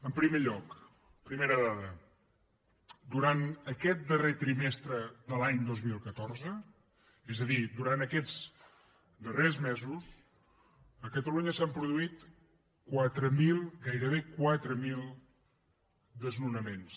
en primer lloc primera dada durant aquest darrer trimestre de l’any dos mil catorze és a dir durant aquests darrers mesos a catalunya s’han produït quatre mil gairebé quatre mil desnonaments